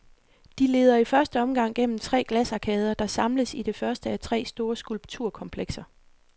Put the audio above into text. De leder i første omgang gennem tre glasarkader, der samles i det første af tre store skulpturkomplekser.